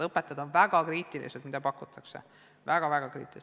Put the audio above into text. Õpetajad on väga kriitilised selle suhtes, mida pakutakse.